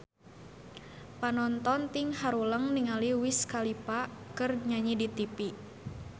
Panonton ting haruleng ningali Wiz Khalifa keur nyanyi di tipi